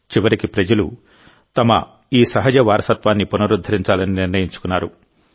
చివరికిప్రజలు తమ ఈ సహజ వారసత్వాన్ని పునరుద్ధరించాలని నిర్ణయించుకున్నారు